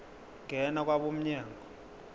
ngena kwabo mnyango